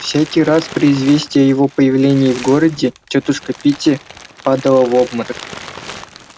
всякий раз при известии о его появлении в городе тётушка питти падала в обморок